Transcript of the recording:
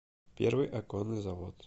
первый оконный завод